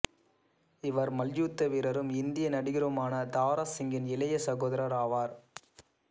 இவர் மல்யுத்த வீரரும் இந்திய நடிகருமான தாரா சிங்கின் இளைய சகோதரர் ஆவார்